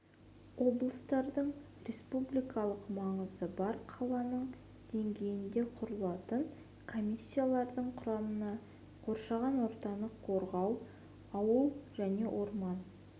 облыстардың республикалық маңызы бар қаланың деңгейінде құрылатын комиссиялардың құрамына қоршаған ортаны қорғау ауыл және орман